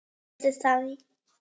Ég skal lofa þér því.